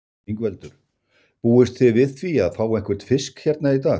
Ingveldur: Búist þið við því að fá einhvern fisk hérna í dag?